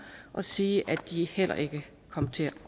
og sige at de heller ikke kommer til